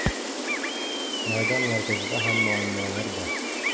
Maydon markazida ham muammolar bor.